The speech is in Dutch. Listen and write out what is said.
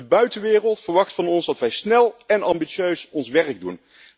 De buitenwereld verwacht van ons dat wij snel en ambitieus ons werk doen.